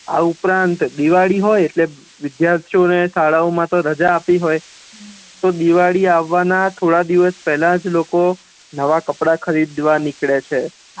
આ ઉપરાંત દિવાળી હોય એટલે વિદ્યાર્થિયો ને તો શાળા મા રજા આપી હોય તો દિવાળી આવવા ના થોડા દિવસ પેહલાજ લોકો નવા કપડા ખરીદવા નીકળે છે